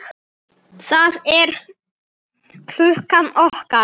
Það er klukkan okkar!